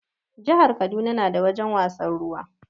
Jihar Kaduna na da wajen wasan ruwa